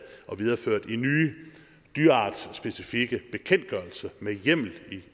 og videreført i nye dyreartsspecifikke bekendtgørelser med hjemmel